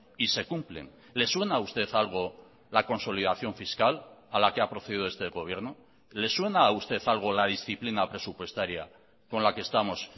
y se cumplen le suena a usted algo la consolidación fiscal a la que ha procedido este gobierno le suena a usted algo la disciplina presupuestaria con la que estamos